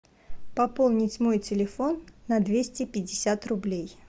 пополнить мой телефон на двести пятьдесят рублей